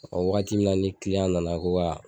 O wagati min na ni nana ko ka